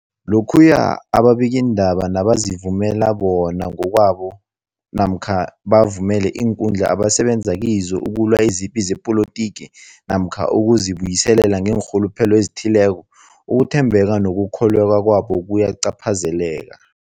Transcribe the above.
Lokhuya ababikiindaba nabazivumela bona ngokwabo namkha bavumele iinkundla abasebenza kizo ukulwa izipi zepolitiki namkha ukuzi buyiselela ngeenrhuluphelo ezithileko, ukuthembeka nokukholweka kwabo kuyacaphazeleka.